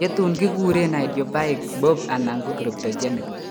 Chotun keguren idiopahic BOOP anan ko cryptogenic